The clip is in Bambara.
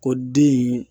Ko den in